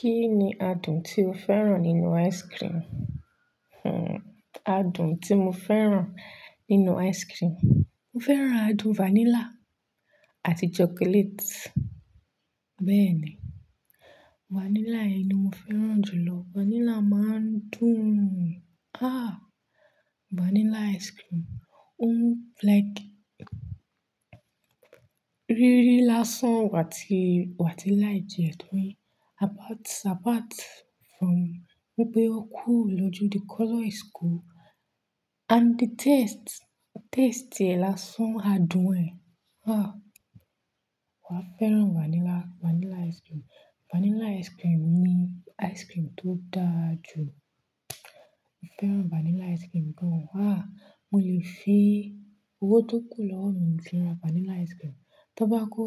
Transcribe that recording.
Kí ni adùn tí o fẹ́ràn nínú ice cream? Adùn tí mo fẹ́ràn nínú ice cream. Mo fẹ́ràn adùn vanilla àti chocolate. Bẹ́ẹ̀ni, vanilla ni mo fẹ́ràn jù lọ. Vanilla máa ń dùn. Ah! Vanilla ice cream, ó like rírí lásán wà tí, wà tí láì jẹ ẹ mi. Apart, apart from wípé ó cool lójú, the color is cool and the taste, taste lasan adùn ẹ̀. Ah! Wa fẹ́ràn vanilla, vanilla ice cream. Vanilla ice cream ni ice cream tó da jù. Mo fẹ́ràn vanilla ice cream gan. Ah! Mo lè fi owó tó kù lọ́wọ́ mi fi ra vanilla ice cream. Tí ó bá kó